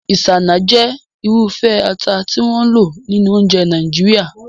Isanaje jẹ́ irúfẹ́ ata tí wọ́n ń lò nínú oúnjẹ Nàìjíríà.